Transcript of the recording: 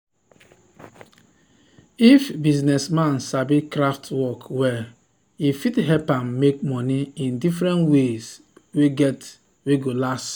if business man sabi craft work well e fit help am make money in different ways wey go last